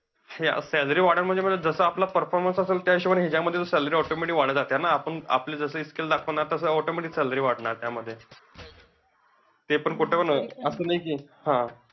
हे, salary वाढून मिळेल म्हणजे, जसं आपला performance असेल, त्या हिशोबाने हे जे salary automatic वाढत जातीयना. आपण आपलं जसं skill दाखवणार तसं automatic salary वाढणार त्यामध्ये. ते पण कुठेपण अं असं नाही कि, हा